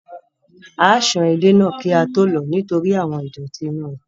A ó san edé náà kí á tó lò ó nítorí àwọn ìdọ̀tí inú rẹ̀